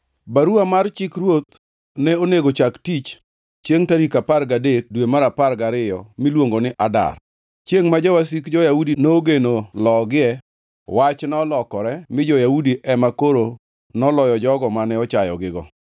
Baruwa mar chik ruoth ne onego chak tich chiengʼ tarik apar gadek dwe mar apar gariyo miluongo ni Adar. Chiengʼ ma jowasik jo-Yahudi nogeno logie, wach nolokore mi jo-Yahudi ema koro noloyo jogo mane ochayogigo.